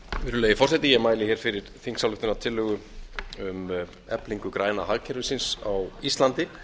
virðulegi forseti ég mæli hér fyrir þingsályktunartillögu um eflingu græna hagkerfisins á íslandi